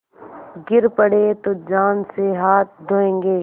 गिर पड़े तो जान से हाथ धोयेंगे